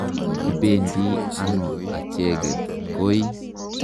Kipendi ano acheket koi?